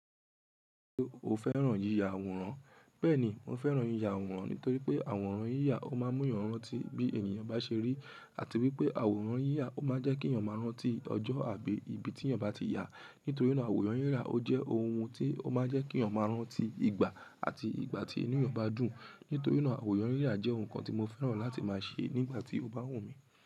O fẹ́ràn yíya àwòrán. Bẹ́ẹ̀ni, mo fẹ́ràn yíya àwòrán nítorí pé àwòrán yíya ó máa ń mú èèyàn rántí bí ènìyàn bá ṣe rí àti wípé àwòrán yíya ó máa ń jẹ́ kí èèyàn máa rántí ọjọ́ àbí ibi tí ẹ̀yàn bá ti yà. Nítorí náà àwòrán yíyà ó jẹ́ ohun tí ó máa ń jẹ́ kí ẹ̀yàn máa rántí ìgbà àti ìgbà tí inú ẹ̀yàn bá dùn. Nítorí náà àwòrán yíyà jẹ́ ohun kan tí mo fẹ́ràn láti máa ṣe nígbà tí ó bá wù mí.